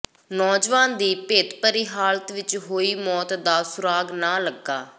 ਨੌਜਵਾਨ ਦੀ ਭੇਤਭਰੀ ਹਾਲਤ ਵਿਚ ਹੋਈ ਮੌਤ ਦਾ ਸੁਰਾਗ਼ ਨਾ ਲੱਗਾ